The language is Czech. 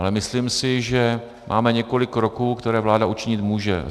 Ale myslím si, že máme několik kroků, které vláda učinit může.